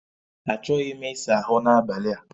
Achọghị m ịsa ahụ n'abalị a